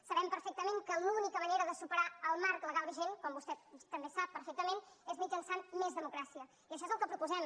sabem perfectament que l’única manera de superar el marc legal vigent com vostè també sap perfectament és mitjançant més democràcia i això és el que proposem